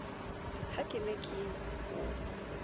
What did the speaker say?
ha ke ne ke o